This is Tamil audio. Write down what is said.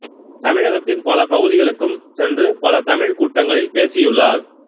தமிழகத்தின் பல பகுதிகளுக்கும் சென்று பல தமிழ்க் கூட்டங்களில் பேசியுள்ளார்